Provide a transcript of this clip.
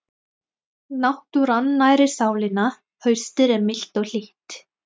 Náttúran nærir sálina Haustið er milt og hlýtt.